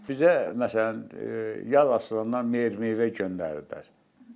Bizə məsələn, ya asılandan meyvə-tərəvəz göndərirdilər.